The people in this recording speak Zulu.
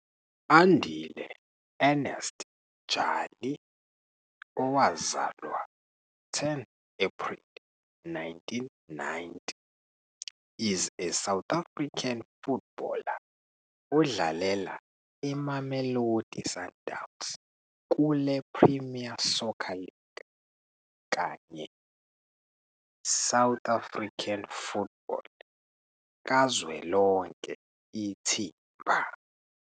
Andile Ernest Jali, owazalwa 10 April 1990, is a South African footballer odlalela iMamelodi Sundowns kule -Premier Soccer League kanye South African football kazwelonke ithimba.